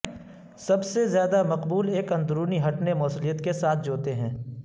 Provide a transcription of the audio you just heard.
سب سے زیادہ مقبول ایک اندرونی ہٹنے موصلیت کے ساتھ جوتے ہیں